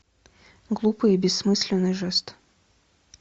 глупый и бессмысленный жест